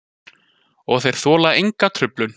Og þeir þola enga truflun.